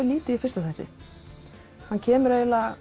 lítið í fyrri þættinum hann kemur